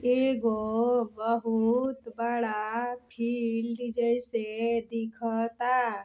एगो बहुत बड़ा फील्ड जैसे दिखता।